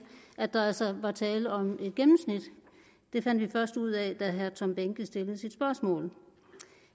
at der altså var tale om et gennemsnit det fandt vi først ud af da herre tom behnke stillede sit spørgsmål